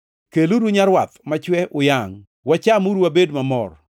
Keluru nyarwath machwe uyangʼ. Wachamuru wabed mamor.